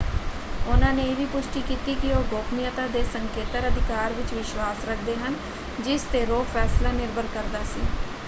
ਉਹਨਾਂ ਨੇ ਇਹ ਵੀ ਪੁਸ਼ਟੀ ਕੀਤੀ ਕਿ ਉਹ ਗੋਪਨੀਯਤਾ ਦੇ ਸੰਕੇਤਤ ਅਧਿਕਾਰ ਵਿੱਚ ਵਿਸ਼ਵਾਸ਼ ਰੱਖਦੇ ਹਨ ਜਿਸ 'ਤੇ ਰੋਅ ਫ਼ੈਸਲਾ ਨਿਰਭਰ ਕਰਦਾ ਸੀ।